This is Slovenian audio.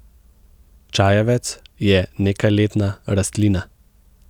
Čajevec je nekajletna rastlina.